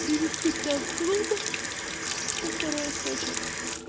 привести к нам в клуб то второй источник